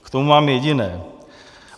K tomu mám jediné.